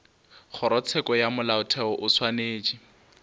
kgorotsheko ya molaotheo o swanetše